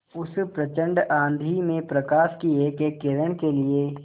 उस प्रचंड आँधी में प्रकाश की एकएक किरण के लिए